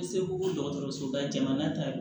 Bɛ se ko dɔgɔtɔrɔsoba jamana ta